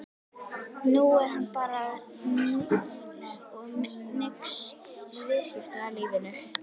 Nú er hann bara núll og nix í viðskiptalífinu!